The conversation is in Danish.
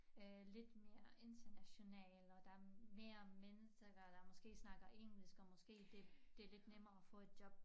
Øh lidt mere international og der mere mennesker der der måske snakker engelsk og måske det det lidt nemmere at få et job